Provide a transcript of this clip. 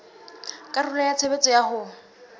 karolo ya tshebetso ya ho